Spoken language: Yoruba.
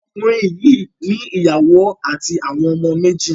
Okùnrin yìí ní ìyàwó àti àwọn ọmọ méjì.